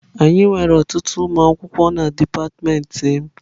Anyị nwere ọtụtụ ụmụ akwụkwọ na dipatịmentị m.